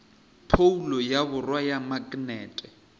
phoulo ya borwa ya maknete